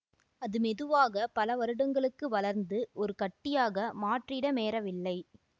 அது மெதுவாக பல வருடங்களுக்கு வளர்ந்து ஒரு கட்டியாக மாற்றிடமேறவில்லை